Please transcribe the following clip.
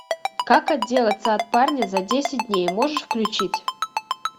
как отделаться от парня за десять дней можешь включить